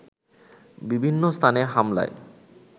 বিভিন্ন স্থানে হামলায়